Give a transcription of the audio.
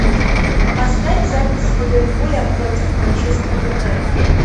поставь запись ливерпуля против манчестер юнайтед